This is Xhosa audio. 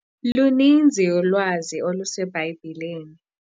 Luninzi ulwazi oluseBhayibhileni.